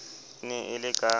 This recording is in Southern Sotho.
e ne e le ka